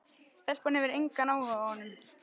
Stelpan hefur engan áhuga á honum.